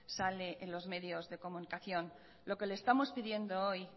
sale en los medios de comunicación lo que le estamos pidiendo hoy